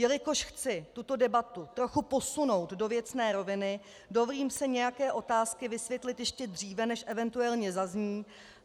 Jelikož chci tuto debatu trochu posunout do věcné roviny, dovolím si nějaké otázky vysvětlit ještě dříve, než eventuálně zazní.